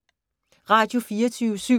Radio24syv